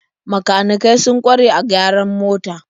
Makanikai sun kware a gyaran mota.